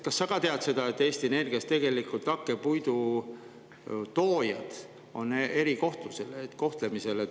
Kas sa tead seda, et Eesti Energias on hakkepuidu toojad erikohtlemisel?